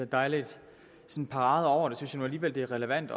der er lidt parade over det synes jeg nu alligevel det er relevant